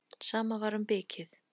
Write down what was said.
Sama var um bikið.